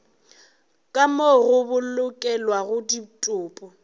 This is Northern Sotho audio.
ka moo go bolokelwago ditopo